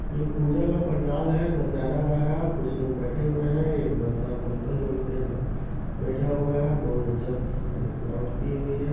ये पूजा का पंडाल है दशहरा का है कुछ लोग बैठे हुए है एक बंदा कंबल ओढ़े के बैठा हुआ है बहुत अच्छा से स स सजावट की हुई है।